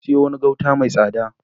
Na sayo wani gauta mai tsada.